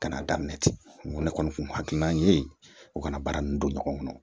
Ka n'a daminɛ ten ne kɔni kun hakililan ye u kana baara nunnu don ɲɔgɔn na